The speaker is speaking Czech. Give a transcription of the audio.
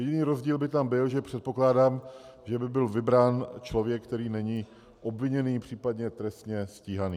Jediný rozdíl by tam byl, že předpokládám, že by byl vybrán člověk, který není obviněný, případně trestně stíhaný.